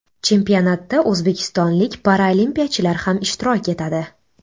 Chempionatda o‘zbekistonlik paralimpiyachilar ham ishtirok etadi.